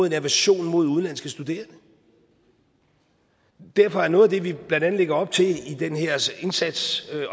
en aversion mod udenlandske studerende derfor er noget af det vi blandt andet lægger op til i den her indsats